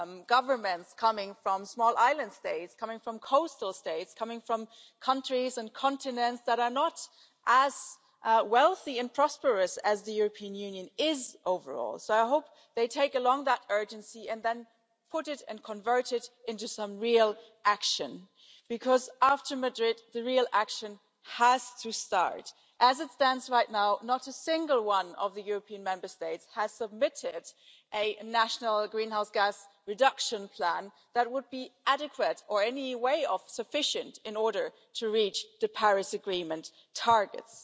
governments of small island states, of coastal states and of countries and continents that are not as wealthy and prosperous as the European Union overall. So, I hope they take along that urgency and then put it and convert it into some real action, because after Madrid the real action has to start. As it stands right now, not a single one of the European Union Member States has submitted a national greenhouse gas reduction plan that would be adequate or in any way sufficient in order to reach the Paris Agreement targets.